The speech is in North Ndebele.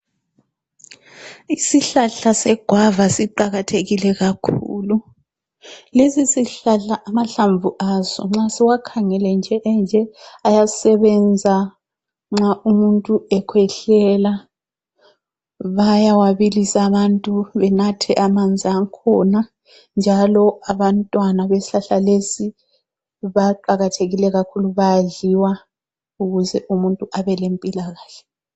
Isihlahla segwava siqakathekile kakhulu, lesi sihlahla amahlamvu aso nxa siwakhangele nje enje ayasebenza nxa umuntu ekhwehlela bayawabilisa abantu benathe amanzi akhona njalo abantwana besihlahla lesi baqakathekile kakhulu bayadliwa ukuze umuntu abe limpilakahle.